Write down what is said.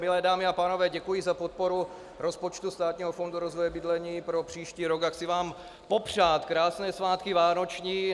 Milé dámy a pánové, děkuji za podporu rozpočtu Státního fondu rozvoje bydlení pro příští rok a chci vám popřát krásné svátky vánoční.